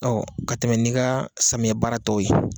Ɔ ka tɛmɛ nin ka samiyɛ baaratɔ ye.